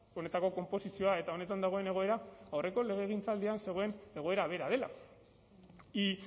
honetako konposizioa eta honetan dagoen egoera aurreko legegintzaldian zegoen egoera bera dela y